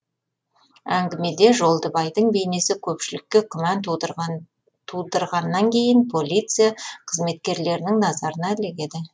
әңгімеде жолдыбайдың бейнесі көпшілікке күмән тудырғаннан кейін полиция қызметкерлерінің назарына ілігеді